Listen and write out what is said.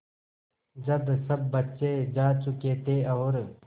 जब सब बच्चे जा चुके थे और